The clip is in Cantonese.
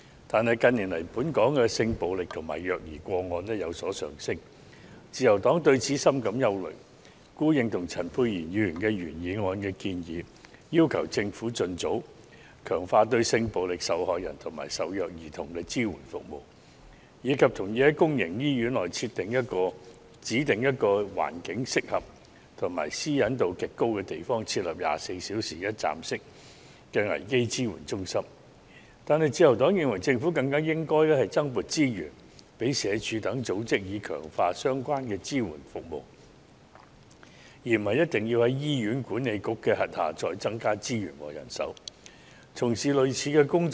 但是，近年來本港的性暴力和虐兒個案卻有所上升，自由黨對此深感憂慮，故認同陳沛然議員的原議案建議，要求政府盡早強化對性暴力受害人及受虐兒童的支援服務，以及同意在公營醫院內指定一個環境適合及私隱度極高的地方設立24小時一站式的危機支援中心，但自由黨認為政府更應該增撥資源予社會福利署等機構，以強化相關的支援服務，而不一定要在醫院管理局轄下再增加資源和人手，從事類似的工作。